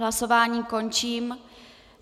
Hlasování končím.